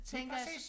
Lige præcis